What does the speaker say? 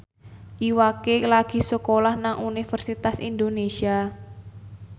Iwa K lagi sekolah nang Universitas Indonesia